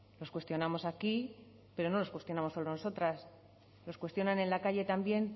los cuestionamos aquí pero no los cuestionamos solo nosotras los cuestionan en la calle también